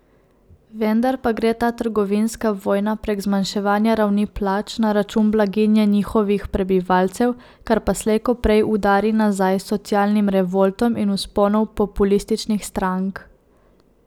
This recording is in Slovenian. Vendar pa gre ta trgovinska vojna prek zmanjševanja ravni plač na račun blaginje njihovih prebivalcev, kar pa slej ko prej udari nazaj z socialnim revoltom in vzponom populističnih strank.